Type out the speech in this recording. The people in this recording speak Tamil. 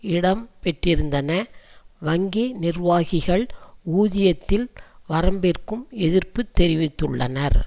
இடம் பெற்றிருந்தன வங்கி நிர்வாகிகள் ஊதியத்தில் வரம்பிற்கும் எதிர்ப்பு தெரிவித்துள்ளனர்